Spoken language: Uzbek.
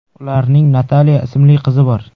Ularning Natalya ismli qizi bor.